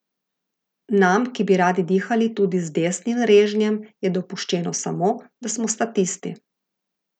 Nam, ki bi radi dihali tudi z desnim režnjem, je dopuščeno samo, da smo statisti.